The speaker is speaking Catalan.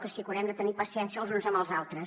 o sigui que haurem de tenir paciència els uns amb els altres